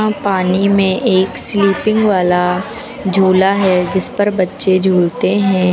पानी में एक स्लीपिंग वाला झूला है जिस पर बच्चे झूलते हैं।